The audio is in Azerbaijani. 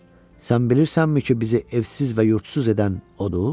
Sən bilirsənmi ki, bizi evsiz və yurdsuz edən odur?